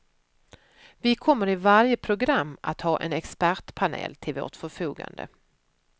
Vi kommer i varje program att ha en expertpanel till vårt förfogande.